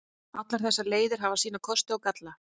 Allar þessar leiðir hafa sína kosti og galla.